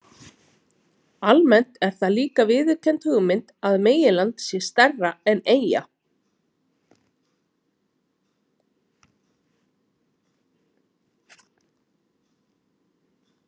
Almennt er það líka viðurkennd hugmynd að meginland sé stærra en eyja.